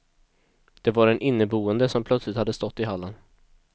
Det var den inneboende som plötsligt hade stått i hallen.